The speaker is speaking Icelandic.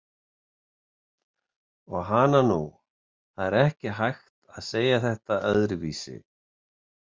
Og hana nú, það er ekki hægt að segja þetta öðruvísi!